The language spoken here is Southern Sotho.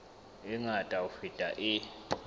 e ngata ho feta e